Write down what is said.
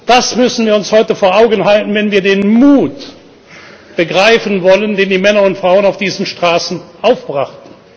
Das müssen wir uns heute vor Augen halten, wenn wir den Mut begreifen wollen, den die Männer und Frauen auf diesen Straßen aufbrachten.